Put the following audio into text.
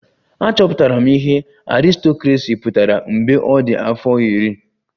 Achọpụtara m ihe aristocracy pụtara mgbe ọ dị afọ iri